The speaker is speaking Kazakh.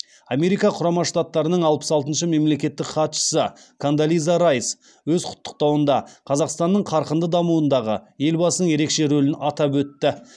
америка құрама штаттарының алпыс алтыншы мемлекеттік хатшысы кондолиза райс өз құттықтауында қазақстанның қарқынды дамуындағы елбасының ерекше рөлін атап өтті